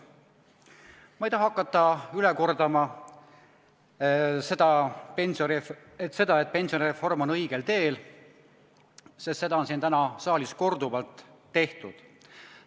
Ma ei taha hakata üle kordama seda, et pensionireform on õigel teel, sest seda on siin saalis täna korduvalt tehtud.